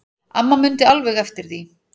Amma mundi alveg eftir því.